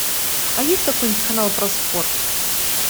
а есть какой нибудь канал про спорт